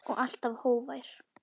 Og alltaf hógvær.